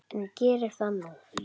En geri það nú.